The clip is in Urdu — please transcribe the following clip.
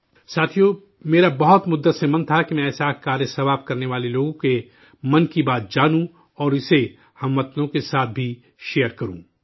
ساتھیو، میرا کافی عرصے سے من تھا کہ میں ایسا نیک کام کرنے والے لوگوں کے 'من کی بات' جانوں اور اسےہم وطنوں کے ساتھ بھی شیئر کروں